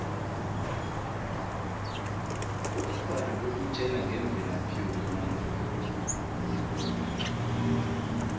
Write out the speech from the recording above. ubukghwari bukutjela ngemvelaphi yomuntu